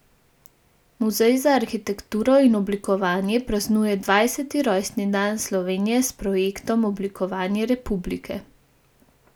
Muzej za arhitekturo in oblikovanje praznuje dvajseti rojstni dan Slovenije s projektom Oblikovanje republike.